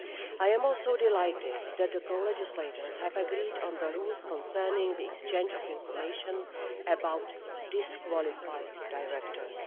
I am also delighted that the co legislators have agreed on the rules concerning the exchange of information about disqualified directors.